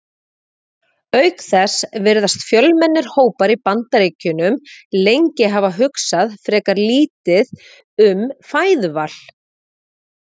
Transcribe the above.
Auk þess virðast fjölmennir hópar í Bandaríkjunum lengi hafa hugsað frekar lítið um fæðuval.